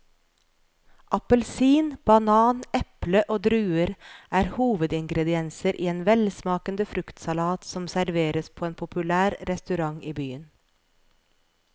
Appelsin, banan, eple og druer er hovedingredienser i en velsmakende fruktsalat som serveres på en populær restaurant i byen.